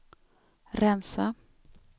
rensa